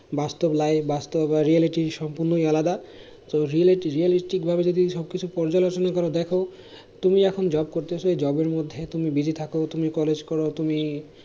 বাস্তব life বাস্তব বা reality সম্পূর্ণই আলাদা তো reality realistic ভাবে যদি সব কিছু পর্যালোচনা করে দেখো তুমি এখন job করতেছো এই job এর মধ্যে তুমি busy থাকো তুমি College করো তুমি